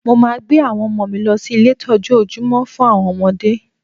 Mo maa gbé àwọn ọmọ mi lọ sí ilé ìtọ́jú ojúmọ́ fún àwọn ọmọdé